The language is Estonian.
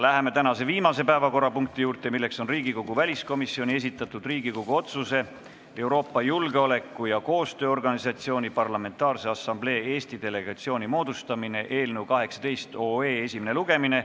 Läheme tänase viimase päevakorrapunkti juurde, Riigikogu väliskomisjoni esitatud Riigikogu otsuse "Euroopa Julgeoleku- ja Koostööorganisatsiooni Parlamentaarse Assamblee Eesti delegatsiooni moodustamine" eelnõu esimene lugemine.